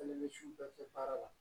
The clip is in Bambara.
Ale bɛ misiw bɛɛ kɛ baara la